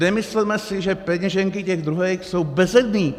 Nemysleme si, že peněženky těch druhých jsou bezedné.